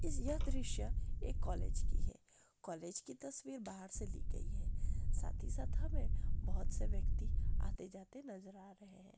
यह दृश्य एक कॉलेज की है कॉलेज की तस्वीर बाहर से ली गई है साथ ही साथ हमे बहुत से व्यक्ति आते-जाते नजर आ रहे है।